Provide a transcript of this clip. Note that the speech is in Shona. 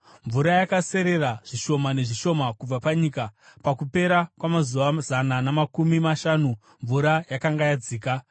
Mvura yakaserera zvishoma nezvishoma kubva panyika. Pakupera kwamazuva zana namakumi mashanu mvura yakanga yadzika,